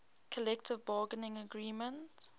collective bargaining agreement